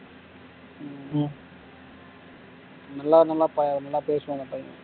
நல்ல நல்ல ப நல்லா பேசுவான் அந்த பையன்